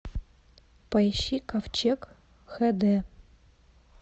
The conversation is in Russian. поищи ковчег х д